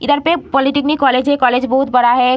इधर पे polytechnic college है कॉलेज बहुत बड़ा है।